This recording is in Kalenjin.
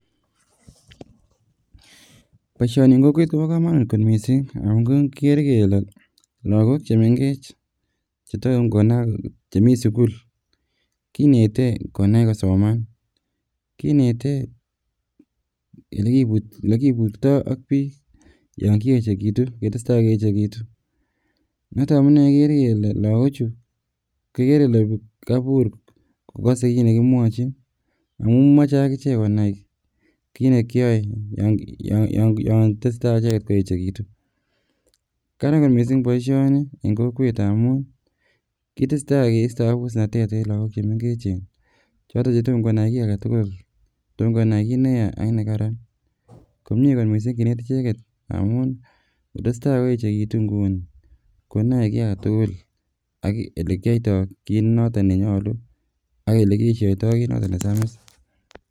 boisioni en kokwet kobo komonut kot missing amun kikere ile lagook chemengech chetomkonam chemii sukul kinete konai kosoman kinete elekiburtoo ak biik yon kiechekitu ketesetai keechekitu noton amune ikere kele lagok chu kikere kele kobur kokose kit nekimwochin amun moche akichek konai kit nekiyoe yon tesetai icheket koeechekitun. Karan kot missing boisioni en kokwet amun kitesetai kisto abusnatet en lagook chemengechen choton chetomkonai kiy aketukul tom konai kit neya ak nekaran komie kot missing kinet ichet amun ngotestai koechekitu nguni konoe kiy aketukul ak elekiyoioto kit noto nenyolu ak elekiesioito kit noton nesamis